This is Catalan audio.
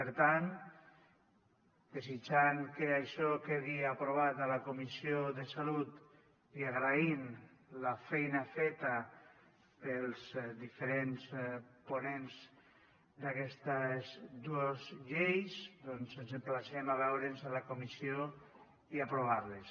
per tant desitjant que això quedi aprovat a la comissió de salut i agraint la feina feta pels diferents ponents d’aquestes dues lleis doncs ens emplacem a veure’ns a la comissió i a aprovar les